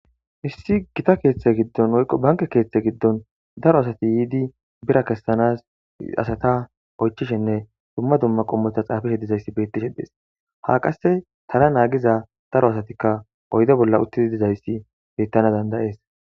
Issi gita keeththe giddon woyqo banke keeththe giddon daro asati yiidi bira kessanas asata oychishenne dumma dumma qommota xaafishe dizayssi bettishe dees ha qasse tana naagiza daro asatikka oyde bolla uttidi dizayssi bettana dandayees.